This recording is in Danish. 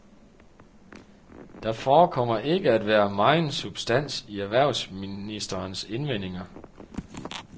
Der forekommer ikke at være megen substans i erhvervsministerens indvendinger.